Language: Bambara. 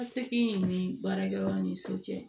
Ka seki in ni baarakɛyɔrɔ ni so cɛ